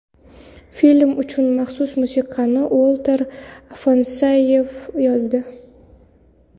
Film uchun maxsus musiqani Uolter Afanasyev yozdi.